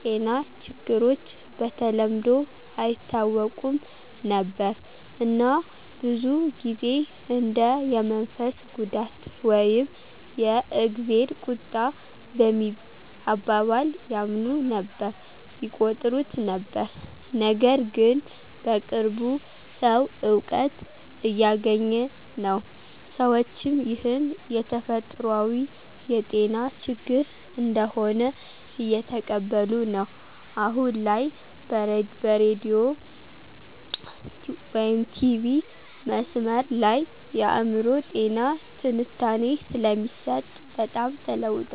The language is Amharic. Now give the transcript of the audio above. ጤና ችግሮች በተለምዶ አይታወቁም ነበር እና ብዙ ጊዜ እንደ የመንፈስ ጉዳት ወይም የ"እግዜር ቁጣ" በሚል አባባል ያምኑ ነበር/ይቆጥሩት ነበር። ነገርግን በቅርቡ ሰዉ እውቀት እያገኘ ነው፣ ሰዎችም ይህን የተፈጥሯዊ የጤና ችግር እንደሆነ እየተቀበሉ ነዉ። አሁን ላይ በሬዲዮ/ቲቪ/መስመር ላይ የአእምሮ ጤና ትንታኔ ስለሚሰጥ በጣም ተለዉጠዋል።